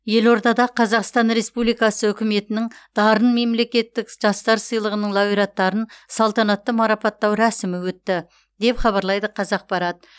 елордада қазақстан республикасы үкіметінің дарын мемлекеттік жастар сыйлығының лауреаттарын салтанатты марапаттау рәсімі өтті деп хабарлайды қазақпарат